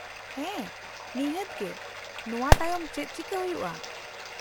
-ᱦᱮᱸ ᱱᱤᱦᱟᱹᱛ ᱜᱮ ᱾ ᱱᱚᱶᱟ ᱛᱟᱭᱚᱢ ᱪᱮᱫ ᱪᱤᱠᱟᱹ ᱦᱩᱭᱩᱜᱼᱟ ?